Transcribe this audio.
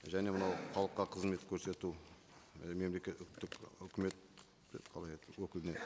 және мынау халыққа қызмет көрсету і мемлекеттік өкімет қалай еді өкіліне